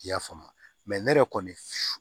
I y'a faamu ne yɛrɛ kɔni